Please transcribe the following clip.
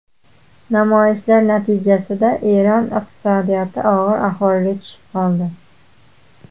Namoyishlar natijasida Eron iqtisodiyoti og‘ir ahvolga tushib qoldi.